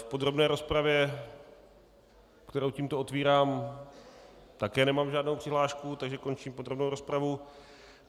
V podrobné rozpravě, kterou tímto otvírám, také nemám žádnou přihlášku, takže končím podrobnou rozpravu.